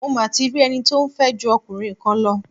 Mo ma ti rí ẹni tí ó ń fẹ́ ju ọkùnrin kan lọ.